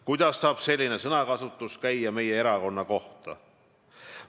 Kuidas saab selline sõnakasutus käia meie erakonna kohta?